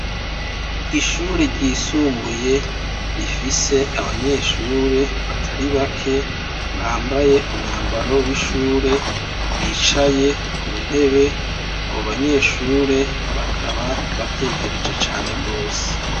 Ishure ryisumbuye rifise abanyeshure batari bake bambaye umwambaro w'ishure, bicaye ku ntebe. Abo banyeshure bakaba batekereje cane rwose.